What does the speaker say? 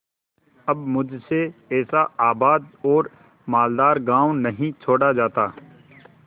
अब मुझसे ऐसा आबाद और मालदार गॉँव नहीं छोड़ा जाता